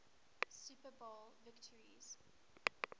super bowl victories